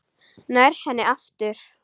Nær henni aftur.